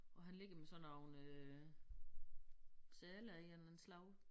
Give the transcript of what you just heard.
Og han ligger med sådan nogle øh seler i af en eller anden slags